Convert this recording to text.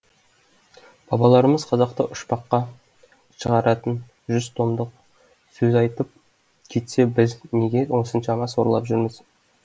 бабаларымыз қазақты ұшпаққа шығаратын жүз томдық сөз айтып кетсе біз неге осыншама сорлап жүрміз